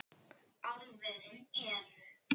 Álverin eru